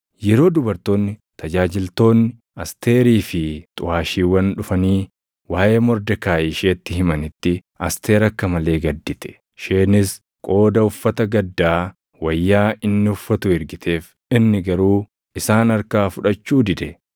Yeroo dubartoonni tajaajiltoonni Asteerii fi xuʼaashiiwwan dhufanii waaʼee Mordekaayi isheetti himanitti Asteer akka malee gaddite. Isheenis qooda uffata gaddaa wayyaa inni uffatu ergiteef; inni garuu isaan harkaa fudhachuu dide.